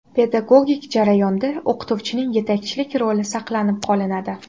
Pedagogik jarayonda o‘qituvchining yetakchilik roli saqlab qolinadi.